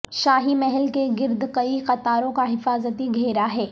شاہی محل کے گرد کئی قطاروں کا حفاظتی گھیرا ہے